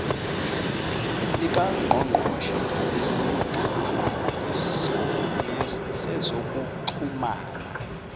likangqongqoshe nabesigaba sezokuxhumana